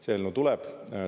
See eelnõu tuleb.